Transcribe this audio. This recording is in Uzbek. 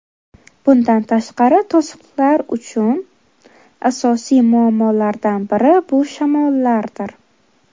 Bundan tashqari, to‘siqlar uchun asosiy muammolardan biri bu shamollardir.